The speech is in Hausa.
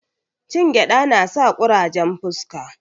Cin gyada nasa kurajen fuska